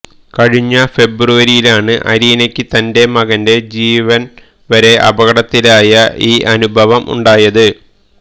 കഴിഞ്ഞ ഫെബ്രുവരിയിലാണ് അരീനയ്ക്ക് തന്റെ മകന്റെ ജീവന്വരെ അപകടത്തിലായ ഈ അനുഭവം ഉണ്ടായത്